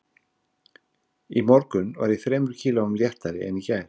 Í morgun var ég þremur kílóum léttari en í gær